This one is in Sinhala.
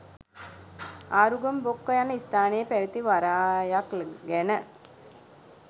ආරුගම් බොක්ක යන ස්ථානයේ පැවැති වරායක් ගැන